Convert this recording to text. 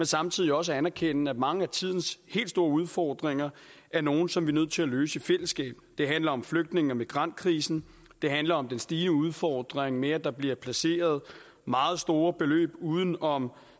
samtidig også anerkender at mange af tidens helt store udfordringer er nogle som vi er nødt til at løse i fællesskab det handler om flygtninge og migrantkrisen det handler om den stigende udfordring med at der bliver placeret meget store beløb uden om